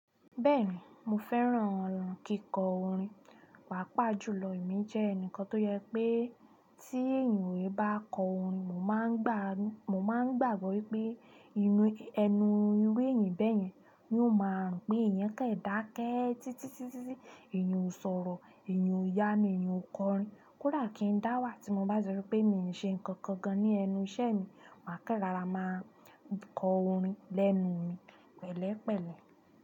Bẹ́ẹ̀ni, mo fẹ́ràn kíkọ orin. Paapá jùlọ èmi jẹ́ ẹnìkan tó jẹ pé tí èèyàn o yi bá kọ orin, mo máa ń gbàgbọ́ wípé ẹnu irú èèyàn bẹ́yẹn yóò máa rùn pé eeyan kan dáké títítítí. Èèyàn ó sọ̀rọ̀, èèyàn ó yánu, èèyàn ó kọ orin. Kódà ki n da wa, tin ba ti sọ pe mi o ṣe nkankan gan ni ẹnu iṣẹ́ mi, maa kan rọra maa kọ orin lẹ́nu pẹlẹpẹlẹ.